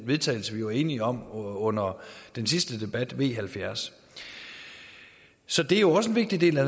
vedtagelse vi var enige om under den sidste debat altså v halvfjerds så det er jo også en vigtig del af